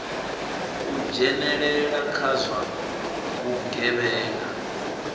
u dzhenelela kha zwa vhugevhenga